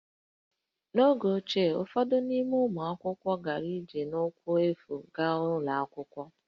N’oge ochie, ụfọdụ n’ime ụmụ akwụkwọ gara ije n'ụkwụ efu gaa ụlọ akwụkwọ